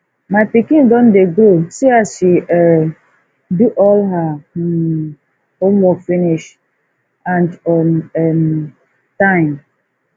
my pikin don dey grow see as she um do all her um work finish and on um time